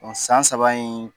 O san saba in